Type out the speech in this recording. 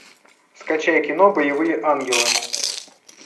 скачай кино боевые ангелы